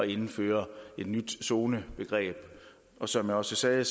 indføre et nyt zonebegreb som jeg også sagde